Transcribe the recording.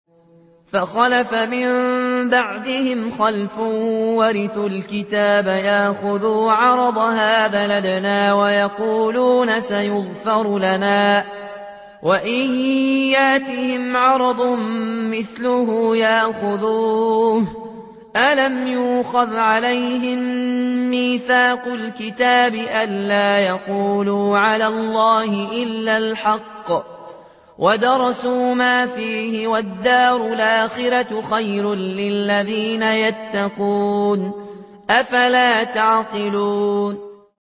فَخَلَفَ مِن بَعْدِهِمْ خَلْفٌ وَرِثُوا الْكِتَابَ يَأْخُذُونَ عَرَضَ هَٰذَا الْأَدْنَىٰ وَيَقُولُونَ سَيُغْفَرُ لَنَا وَإِن يَأْتِهِمْ عَرَضٌ مِّثْلُهُ يَأْخُذُوهُ ۚ أَلَمْ يُؤْخَذْ عَلَيْهِم مِّيثَاقُ الْكِتَابِ أَن لَّا يَقُولُوا عَلَى اللَّهِ إِلَّا الْحَقَّ وَدَرَسُوا مَا فِيهِ ۗ وَالدَّارُ الْآخِرَةُ خَيْرٌ لِّلَّذِينَ يَتَّقُونَ ۗ أَفَلَا تَعْقِلُونَ